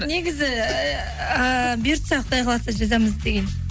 негізі ыыы бұйыртса құдай қаласа жазамыз деген